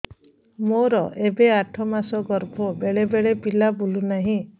ମୋର ଏବେ ଆଠ ମାସ ଗର୍ଭ ବେଳେ ବେଳେ ପିଲା ବୁଲୁ ନାହିଁ